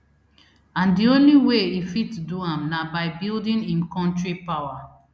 and di only way e fit do am na by building im kontri power